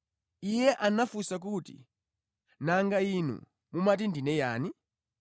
Iye anafunsa kuti, “Nanga inuyo mumati ndine yani?”